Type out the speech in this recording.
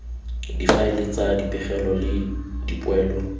difaele tsa dipegelo le dipoelo